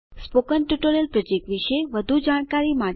spoken tutorial project વિશે વધુ જાણકારી માટે